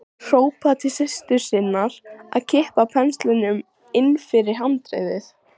Hrópaði til systur sinnar að kippa penslinum inn fyrir handriðið.